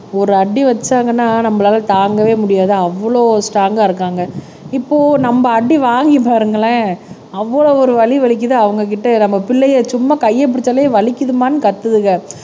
ஒரு அடி வச்சாங்கன்னா நம்மளால தாங்கவே முடியாது அவ்வளவு ஸ்ட்ரோங்கா இருக்காங்க இப்போ நம்ம அடி வாங்கிப் பாருங்களேன் அவ்வளவு ஒரு வலி வலிக்குது அவங்ககிட்ட நம்ம பிள்ளையை சும்மா கையை பிடிச்சாலே வலிக்குதும்மான்னு கத்துதுங்க